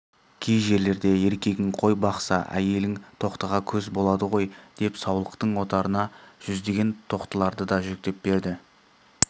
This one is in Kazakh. кей жерлерде еркегің қой бақса әйелің тоқтыға көз болады ғой деп саулықтың отарына жүздеген тоқтыларды да жүктеп берді